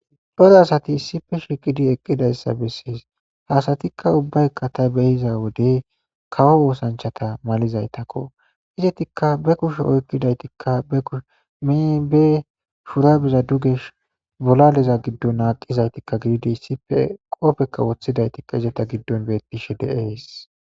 Cora asati issife shiqidi eqqidayssa bessees hasatikka ubbaykka ta behiza wodey kawo oosanchata malizaytakko izetikka be kushe oykkidaytikka be kushe meebe shurabeza dugesh bolaleza giddon aaqizaytikka gididi issipe qoofekka woththidaytikka izata giddon bettishe deees.